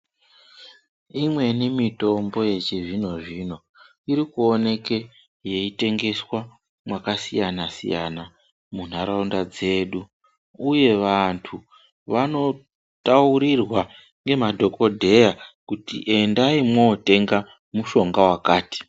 Imweni mutombo yechi zvino zvino iri kuoneke yei tengeswa maka siyana siyana mu nharaunda dzedu uye vantu vano taurirwa nge madhokodheya kuti endayi motenga mushonga wakati.